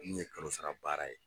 Minnu ye kalosara baara ye